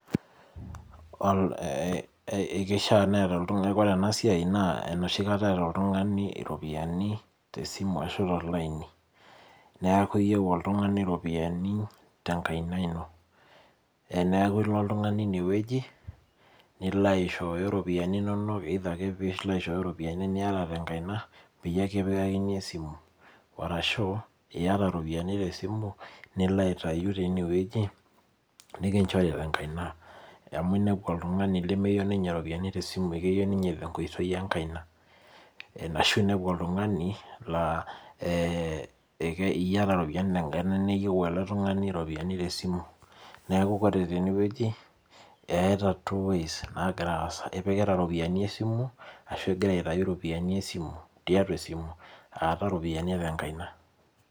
Ekeishaa neeta oltung'ani ore enasiai naa enoshi kata eeta oltung'ani iropiyiani tesimu ashu tolaini. Neeku iyieu oltung'ani iropiyiani tenkaina ino. Eneeku ilo oltung'ani inewueji, nilo aishooyo iropiyiani inonok either ake pilo aishooyo ropiyiani niata tenkaina, peyie kipikakini esimu. Arashu iyata iropiyiani tesimu, nilo aitayu tinewueji, nikinchori tenkaina. Amu inepu oltung'ani lemeyieu ninye iropiyiani tesimu, keyieu ninye tenkoitoi enkaina. Ashu inepu oltung'ani laa iyata ropiyiani tenkaina neyieu ele tung'ani ropiyiani tesimu. Neeku ore tenewueji, eeta two ways nagira aasa. Ipikita ropiyiani esimu, ashu aigira aitayu ropiyiani esimu tiatua esimu, aata ropiyiani tenkaina.